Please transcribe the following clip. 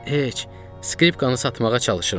"Heç, skripkanı satmağa çalışıram.